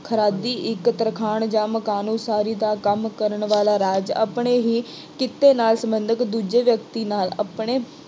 ਖਰਾਦੀ ਇੱਕ ਤਰਖਾਣ ਜਾਂ ਮਕਾਨ ਉਸਾਰੀ ਦਾ ਕੰਮ ਕਰਨ ਵਾਲਾ ਰਾਜ ਆਪਣੇ ਹੀ ਕਿੱਤੇ ਨਾਲ ਸੰਬੰਧਿਤ ਦੂਜੇ ਵਿਅਕਤੀ ਨਾਲ ਆਪਣੇ